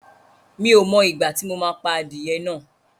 Mi ò mọ ìgbà tí mo máa pa adìyẹ náà